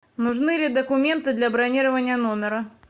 нужны ли документы для бронирования номера